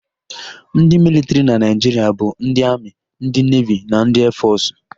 Ndị militrị na Naịjiria bụ ndị amị, ndị nevi na ndị eefọsụ.